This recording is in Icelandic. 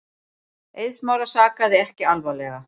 Eið Smára sakaði ekki alvarlega.